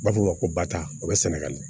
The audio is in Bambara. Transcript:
U b'a fɔ o ma ko bata o bɛ sɛnɛgali